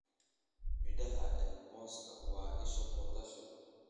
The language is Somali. Midhaha ee mooska waa isha potassium.